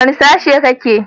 Wane sashe kake?